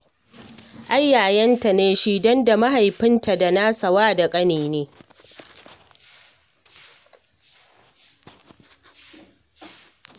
Ai yayanta ne shi, don da mahaifinta da nasa wa da ƙani ne